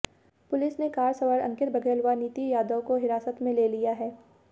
police ने car सवार अंकित बघेल व नितिन यादव को हिरासत में ले लिया है